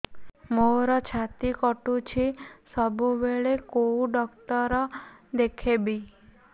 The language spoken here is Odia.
ମୋର ଛାତି କଟୁଛି ସବୁବେଳେ କୋଉ ଡକ୍ଟର ଦେଖେବି